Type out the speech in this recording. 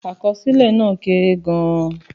Àkọsílẹ̀ náà kéré gan-an.